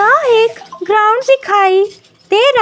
यहाँ एक ग्राउंड दिखाई दे रहा--